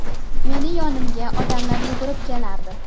Meni yonimga odamlar yugurib kelardi.